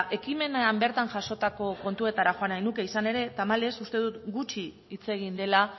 ekimenean bertan jasotako kontuetara joan nahi nuke izan ere tamalez uste dut gutxi hitz egin dela